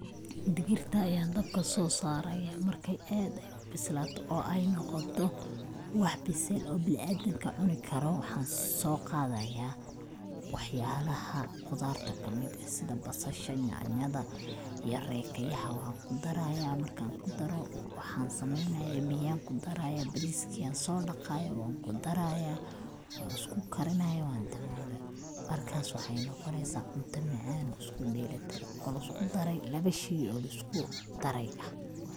Digirta ayan dabka soo saaraya, marka aad ay ubislaato oo ay noqoto wax bisel oo bini adamka cuni karo waxan soo qaadaya waxyalaha qudarta kamid eh sida basasha, nyaanyada iyo reekayaha oo an kudaraya, markan kudaro waxan sameeynaya biya kudaraya, bariska ayan soo dhaqaya wanku daraya, wan isku karinaya ,wan daboolaya markas waxay noqoneysa cunta macaan oo isku dheeri tiran oo lisku darey labo shey oo lisku dare ah